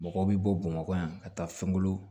Mɔgɔw bɛ bɔ bamakɔ yan ka taa fɛnko